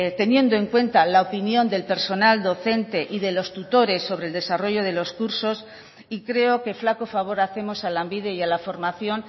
teniendo en cuenta la opinión del personal docente y de los tutores sobre el desarrollo de los cursos y creo que flaco favor hacemos a lanbide y a la formación